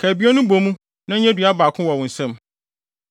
Ka abien no bɔ mu na ɛnyɛ dua baako wɔ wo nsam.